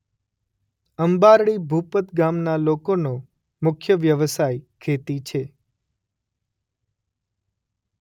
અંબારડી ભુપત ગામના લોકોનો મુખ્ય વ્યવસાય ખેતી છે.